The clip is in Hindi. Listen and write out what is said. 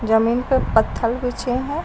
जमीन पर पत्थल बिछे है।